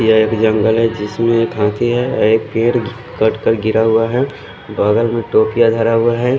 ये एक जंगल है जिसमे थोकी है और एक पेर कट कर गिरा हुआ है बगल में तोतलिया धरा हुआ है।